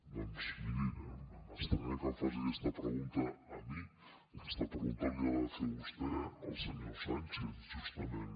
doncs miri m’estranya que em faci aquesta pregunta a mi aquesta pregunta li ha de fer vostè al senyor sánchez justament